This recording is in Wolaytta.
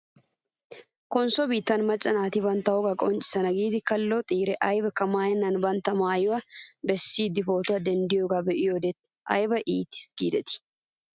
Konsso biittaa macca naati bantta wogaa qonccissanaw giidi kalloxiire aybakka maayenna bantta bollaa besiiddi pootuwaa denddiyoogaa be'iyoo wode ayba iites giidetii